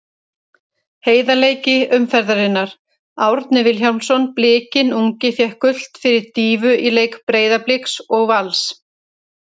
Heiðarleiki umferðarinnar: Árni Vilhjálmsson Blikinn ungi fékk gult fyrir dýfu í leik Breiðabliks og Vals.